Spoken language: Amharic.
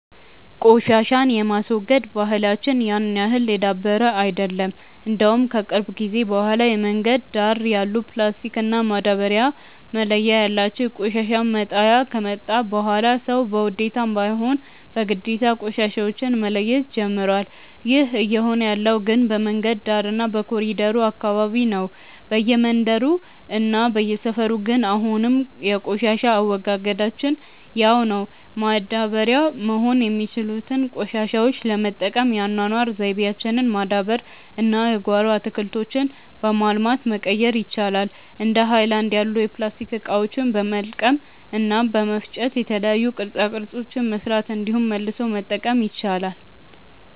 ቆሻሻን የማስወገድ ባህላች ያን ያህል የዳበረ አይደለም። እንደውም ከቅርብ ጊዜ በኋላ የመንገድ ዳር ያሉ ፕላስቲክ እና ማዳበርያ መለያ ያላቸው የቆሻሻ መጣያ ከመጣ በኋላ ሰዉ በውዴታም ባይሆን በግዴታ ቆሻሻዎች መለየት ጀምሮዋል። ይህ እየሆነ ያለው ግን በመንገድ ዳር እና በኮሪደሩ አካባቢ ነው። በየመንደሩ እና በየሰፈሩ ግን አሁንም የቆሻሻ አወጋገዳችን ያው ነው። ማዳበሪያ መሆን የሚችሉትን ቆሻሾች ለመጠቀም የአኗኗር ዘይቤያችንን ማዳበር እና የጓሮ አትክልቶችን በማልማት መቀየር ይቻላል። እንደ ሀይለናድ ያሉ የፕላስቲክ እቃዎችን በመልቀም እና በመፍጨ የተለያዩ ቅርፃ ቅርፆችን መስራት እንዲሁም መልሶ መጠቀም ይቻላል።